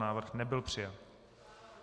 Návrh nebyl přijat.